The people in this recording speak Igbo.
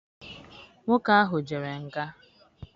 Nwoke ahụ jere nga.